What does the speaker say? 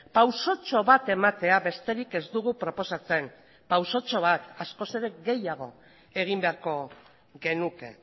pausotxo bat ematea besterik ez dugu proposatzen pausotxo bat askoz ere gehiago egin beharko genuke